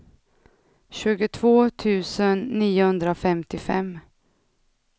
tjugotvå tusen niohundrafemtiofem